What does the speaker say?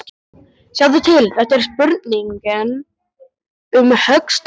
Sjáðu til, þetta er spurning um höggstað.